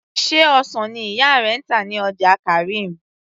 sé ọsàn ni ìyá rẹ ń tà ní ọjà karim